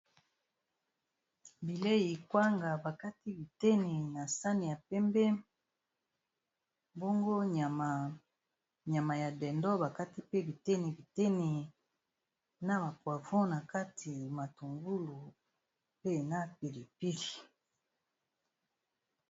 bilei ekwanga bakati bitene na sani ya pembe bango nyama ya dendo bakati pe bitene bitene na bapravon na kati matungulu pe na pilipili